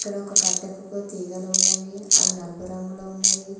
ఇక్కడ ఒక కట్టెకు ఒక తీగలు ఉన్నవి అవి నలుపు రంగులో ఉన్నది.